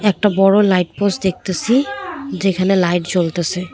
একটা বড়ো light post দেখতাসি যেখানে লাইট জ্বলতেসে।